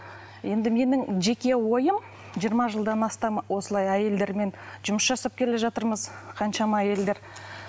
енді менің жеке ойым жиырма жылдам астам осылай әйелдермен жұмыс жасап келе жатырмыз қаншама әйелдер